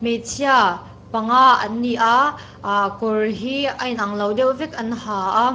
hmeichhia panga an ni a ah kawr hi a inang lo deuh vek an ha a.